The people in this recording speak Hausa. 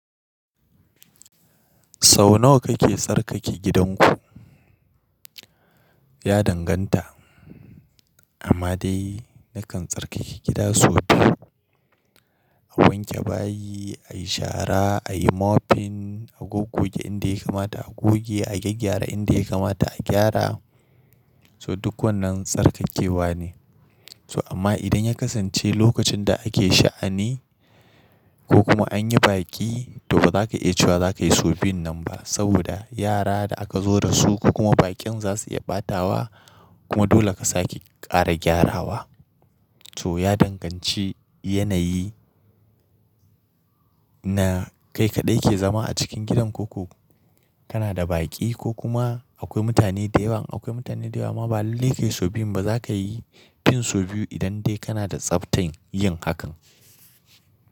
Sau nawa kake tsarkake gidanku? Ya danganta, amma dai nakan tsarkake gida sau biyu. A wanke bayi, a yi shara, a yi mopping, a gogge inda ya kamata a goge, a gyaggyara inda ya kamata a gyara. So duk wannan tsarkakewa ne. So amma idan ya kasance lokacin da ake sha'ani ko kuma an yi baƙi to ba za ka iya cewa za ka yi sau biyu nan ba. Saboda yara da aka zo da su ko kuma bakin za su iya ɓatawa kuma dole ka sake ƙara gyarawa. To ya danganci yanayi na kai kaɗai ke zama a cikin gidan ko ko kana da baƙi ko kuma akwai mutane da yawa. Akwai mutane da yawa ma ba lallai kayi sau biyu ba za ka yi fin sau biyu idan dai kana da tsaftan yin hakan.